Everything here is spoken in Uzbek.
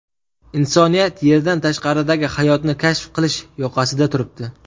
Insoniyat Yerdan tashqaridagi hayotni kashf qilish yoqasida turibdi.